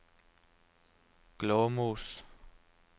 Glåmos